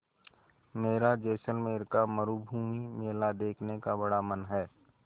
मेरा जैसलमेर का मरूभूमि मेला देखने का बड़ा मन है